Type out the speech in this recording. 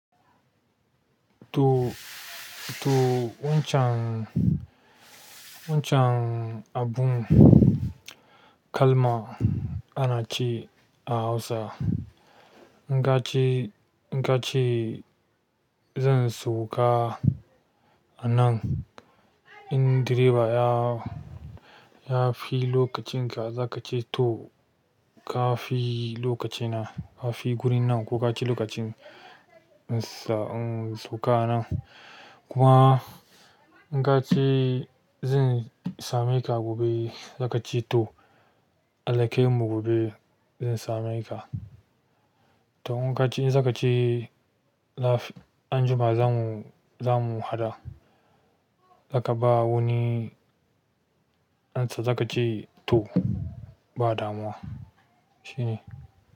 To, to wancan, wancan abun kalma ana ce a Hausa. In ka ce, in ka ce zan sauka a nan, in direba ya, ya fi lokacin ka, za ka ce to ka fi lokaci na, ka fi gurin nan ko ka ci lokacin sa, um, sauka a nan. Kuma in ka ce zan same ka gobe, za ka ce to. Alƙaimu gobe zan same ka. To inkace zakace laf anjuma zamu zamu haɗa, zaka ba wani amsa zaka ce to badamu toh, shine.